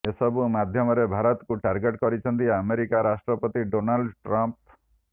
ଏସବୁ ମଧ୍ୟରେ ଭାରତକୁ ଟାର୍ଗେଟ କରିଛନ୍ତି ଆମେରିକା ରାଷ୍ଟ୍ରପତି ଡୋଲାଲ୍ଡ ଟ୍ରମ୍ପ